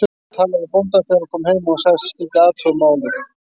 Hún talaði við bóndann þegar hún kom heim og hann sagðist skyldi athuga málið.